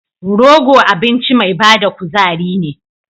Rogo abinci mai bada kuzari ne.